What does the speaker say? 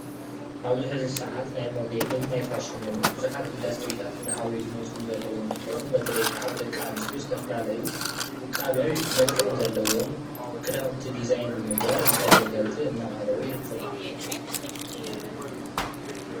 ኣብዚ ሕዚ ሳዓት ናይ ሞዴልን ናይ ፋሽንን ብዙሓት ኢንዱስትሪታት እናዓበዩ ዝመፁን ዘለው እንትኮኑ በተለይ ካዓ ብደቀነስትዮ ዝተፈላለዩ ውቃበን መልክዕን ዘለዎም ክዳውንቲ ዲዛይን ብምግባር ንተገልገልቲ እናቀረቡ ይርከቡ።